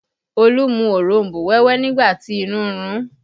Olu mu òronbó wẹ́wẹ́ nígbà tí inú ń run ún